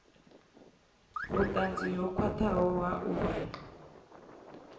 vhutanzi ho khwathaho ha uri